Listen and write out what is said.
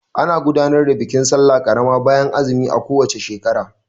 Ana gudanar da bikin sallah karama bayan azumi a ko wace shekara.